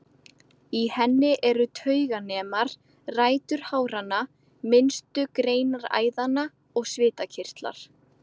Í henni eru tauganemar, rætur háranna, minnstu greinar æðanna og svitakirtlar.